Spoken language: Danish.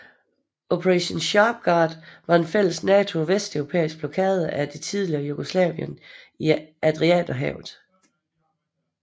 Operation Sharp Guard var en fælles NATO og vesteuropæisk blokade af det tidligere Jugoslavien i Adriaterhavet